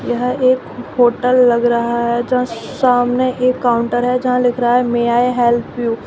यह एक होटल लग रहा है जहां सामने एक काउंटर है जहां लिख रहा है मे आई हेल्प यू ।